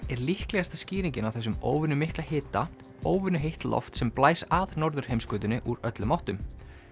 er líklegasta skýringin á þessum óvenju mikla hita óvenju heitt loft sem blæs að norðurheimskautinu úr öllum áttum